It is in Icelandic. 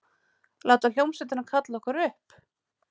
Láta hljómsveitina kalla okkur upp?